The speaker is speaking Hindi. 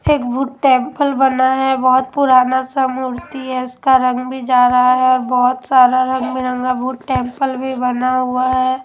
एक भूत टेंपल बना है बहोत पुराना सा मूर्ति है उसका रंग भी जा रहा है और बोहोत सारा रंग बिरंगा भूत टेंपल भी बना हुआ है।